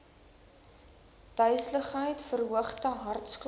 duiseligheid verhoogde hartklop